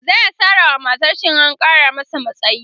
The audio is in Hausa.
zaya Sara wa matarshi in an Kara masa matsayi